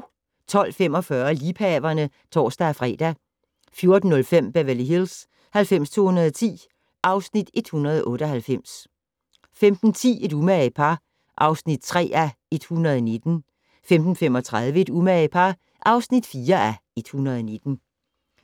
12:45: Liebhaverne (tor-fre) 14:05: Beverly Hills 90210 (Afs. 198) 15:10: Et umage par (3:119) 15:35: Et umage par (4:119)